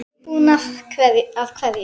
Hver er búinn að hverju?